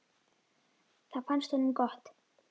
Það fannst honum gott.